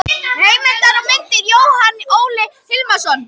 Heimildir og myndir: Jóhann Óli Hilmarsson.